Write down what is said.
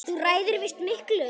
Þú ræður víst miklu.